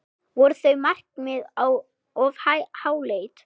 Voru þau markmið of háleit?